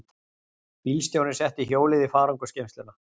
Bílstjórinn setti hjólið í farangursgeymsluna.